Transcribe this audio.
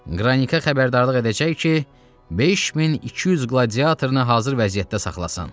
Qranika xəbərdarlıq edəcək ki, 5200 qladiatoru hazır vəziyyətdə saxlasın.